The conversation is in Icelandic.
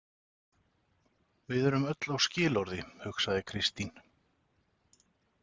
Við erum öll á skilorði, hugsaði Kristín.